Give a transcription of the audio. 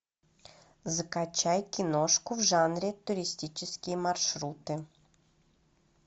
закачай киношку в жанре туристические маршруты